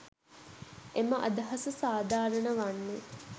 එම අදහස සාධාරණ වන්නේ